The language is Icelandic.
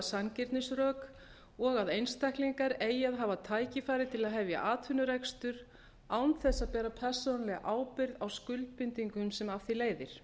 sanngirnisrök og að einstaklingar eigi að hafa tækifæri til að hefja atvinnurekstur án þess að bera persónulega ábyrgð á skuldbindingum sem af því leiðir